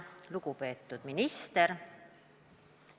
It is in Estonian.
Lugupeetud minister!